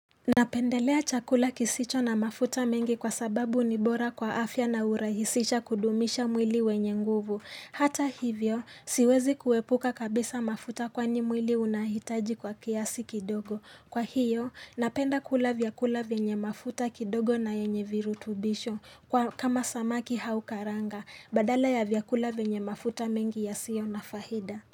Napendelea chakula kisicho na mafuta mengi kwa sababu ni bora kwa afya na hurahisisha kudumisha mwili wenye nguvu. Hata hivyo, siwezi kuepuka kabisa mafuta kwani mwili unahitaji kwa kiasi kidogo. Kwa hiyo, napenda kula vyakula vyenye mafuta kidogo na yenye virutubisho kama samaki au karanga badala ya vyakula vyenye mafuta mengi yasiyoo na faida.